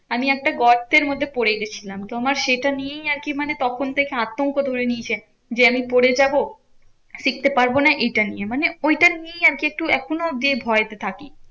আমি একটা গর্তের মধ্যে পরে গেছিলাম। তো আমার সেটা নিয়েই আরকি মানে তখন থেকে আতঙ্ক ধরে নিয়েছে যে, আমি পরে যাবো। শিখতে পারবো না এটা নিয়ে মানে ঐটা নিয়েই আরকি একটু এখনো যে ভয়তে থাকি।